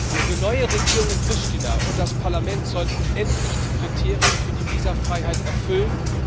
Die neue Regierung in Pristina und das Parlament sollten endlich die Kriterien für die Visafreiheit erfüllen.